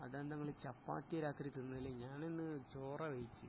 അതെന്താ ങ്ങള് ചപ്പാത്തിയാ രാത്രി തിന്നല് ഞാൻ ഇന്ന് ചോറാ കഴിച്ച്